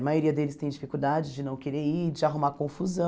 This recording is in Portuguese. A maioria deles tem dificuldade de não querer ir, de arrumar confusão.